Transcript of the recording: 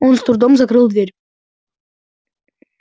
он с трудом закрыл дверь